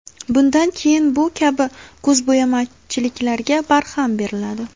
Bundan keyin bu kabi ko‘zbo‘yamachiliklarga barham beriladi.